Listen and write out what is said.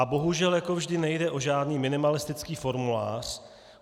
A bohužel jako vždy nejde o žádný minimalistický formulář.